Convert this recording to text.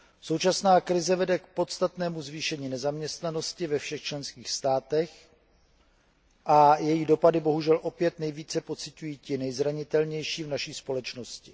Současná krize vede k podstatnému zvýšení nezaměstnanosti ve všech členských státech a její dopady bohužel opět nejvíce pociťují ti nejzranitelnější v naší společnosti.